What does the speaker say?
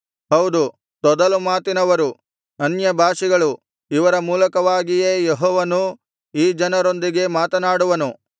ಹೌದು ತೊದಲು ಮಾತಿನವರು ಅನ್ಯಭಾಷಿಗಳು ಇವರ ಮೂಲಕವಾಗಿಯೇ ಯೆಹೋವನು ಈ ಜನರೊಂದಿಗೆ ಮಾತನಾಡುವನು